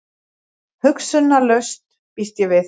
Hugsunarlaus, býst ég við.